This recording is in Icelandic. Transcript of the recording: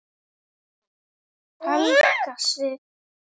Helga Sig.